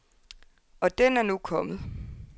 Og den er nu kommet.